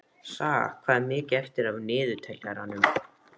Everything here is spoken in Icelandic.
Saga, hvað er mikið eftir af niðurteljaranum?